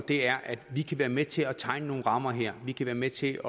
er at vi kan være med til at tegne nogle rammer her vi kan være med til